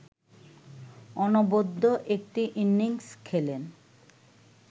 অনবদ্য একটি ইনিংস খেলেন